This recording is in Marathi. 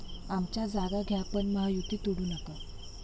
आमच्या जागा घ्या पण महायुती तोडू नका'